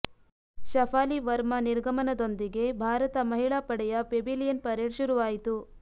ಶಫಾಲಿ ವರ್ಮಾ ನಿರ್ಗಮನದೊಂದಿಗೆ ಭಾರತ ಮಹಿಳಾ ಪಡೆಯ ಪೆವಿಲಿಯನ್ ಪರೇಡ್ ಶುರುವಾಯಿತು